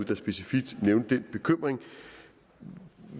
der specifikt nævnte den bekymring